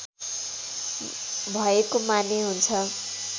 भएको माने हुन्छ